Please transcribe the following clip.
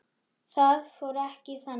Það fór ekki þannig.